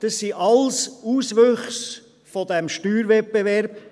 Das sind alles Auswüchse dieses Steuerwettbewerbs.